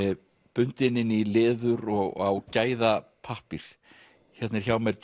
bundin inn í leður og á gæðapappír hérna er hjá mér